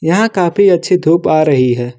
यहां काफी अच्छी धूप आ रही हैं।